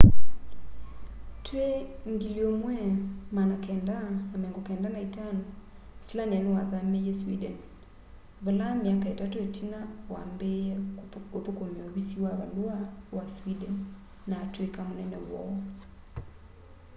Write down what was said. twi 1995 slania niwathamiie sweden vala myaka itatu itina wambiie uthukumia uvisi wa valua wa sweden na atwika munene woo